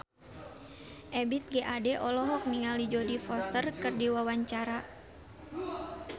Ebith G. Ade olohok ningali Jodie Foster keur diwawancara